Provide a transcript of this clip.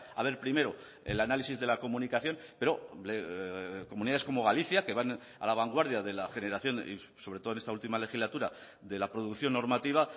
a ver primero el análisis de la comunicación pero comunidades como galicia que van a la vanguardia de la generación y sobre todo en esta última legislatura de la producción normativa